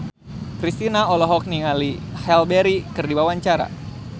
Kristina olohok ningali Halle Berry keur diwawancara